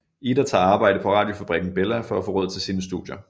Ida tager arbejde på radiofabrikken Bella for at få råd til sine studier